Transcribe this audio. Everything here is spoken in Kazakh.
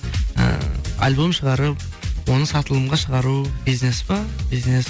і альбом шығарып оны сатылымға шығару ол бизнес па бизнес